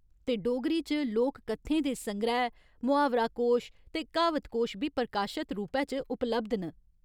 ते डोगरी च लोक कत्थें दे संग्रैह्, मुहावरा कोश ते क्हावत कोश बी प्रकाशत रूपै च उपलब्ध न।